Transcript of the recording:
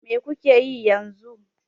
Me kuke yi yanzu?